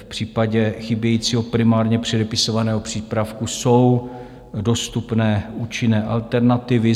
V případě chybějícího primárně předepisovaného přípravku jsou dostupné účinné alternativy.